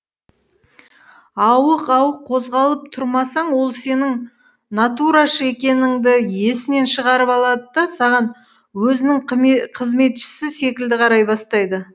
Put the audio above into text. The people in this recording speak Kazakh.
ауық ауық қозғалып тұрмасаң ол сенің натурашы екеніңді есінен шығарып алады да саған өзінің қызметшісі секілді қарай бастайды